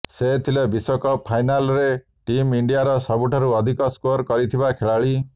ସେ ଥିଲେ ବିଶ୍ୱକପ ଫାଇନାଲରେ ଟିମ୍ ଇଣ୍ଡିଆର ସବୁଠାରୁ ଅଧିକ ସ୍କୋର କରିଥିବା ଖେଳାଳୀ